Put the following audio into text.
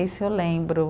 Esse eu lembro.